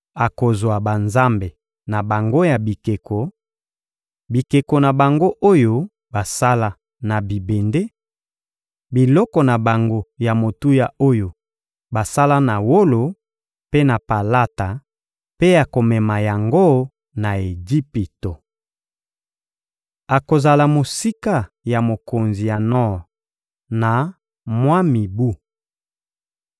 Akozwa banzambe na bango ya bikeko, bikeko na bango oyo basala na bibende, biloko na bango ya motuya oyo basala na wolo mpe na palata mpe akomema yango na Ejipito. Akozala mosika ya mokonzi ya nor na mwa mibu.